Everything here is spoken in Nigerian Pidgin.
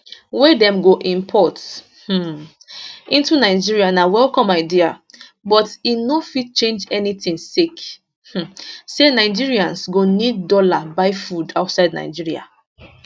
wey dem go import um into nigeria na welcome idea but e no fit change anytin sake um say nigerians go need dollar buy food outside nigeria